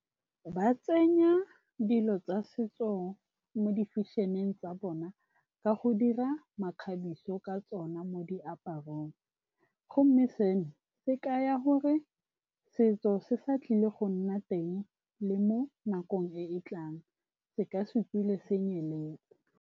Ba tsenya dilo tsa setso mo di-fashion-eng tsa bona ka go dira makgabiso ka tsona mo diaparong. Gomme seno se kaya gore setso se sa tlile go nna teng le mo nakong e e tlang se ka se tswile se nyeletse.